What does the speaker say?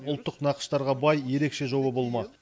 ұлттық нақыштарға бай ерекше жолы болмақ